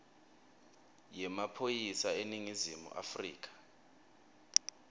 yemaphoyisa eningizimu afrika